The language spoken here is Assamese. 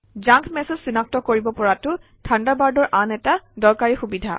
জাংক মেচেজ চিনাক্ত কৰিব পৰাটো থাণ্ডাৰবাৰ্ডৰ আন এটা দৰকাৰী সুবিধা